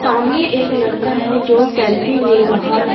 सामने एक लड़का है जो सेल्फी ले रहा है।